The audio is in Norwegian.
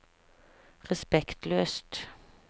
respektløst